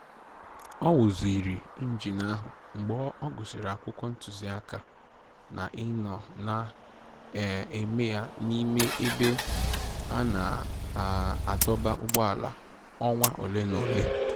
O wuziri injin ahụ mgbe ọ gụsịrị akwụkwọ ntụziaka na ịnọ na-eme ya n'ime ebe a na-adọba ụgbọala ọnwa ole na ole